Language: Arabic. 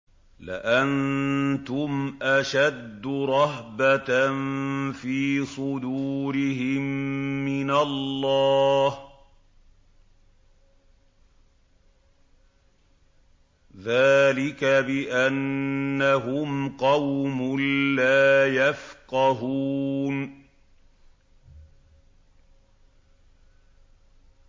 لَأَنتُمْ أَشَدُّ رَهْبَةً فِي صُدُورِهِم مِّنَ اللَّهِ ۚ ذَٰلِكَ بِأَنَّهُمْ قَوْمٌ لَّا يَفْقَهُونَ